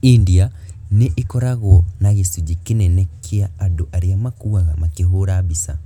India nĩyo ĩkoragwo na gĩcunjĩ kĩnene kĩa andũ arĩa makuaga makĩhũũra mbica.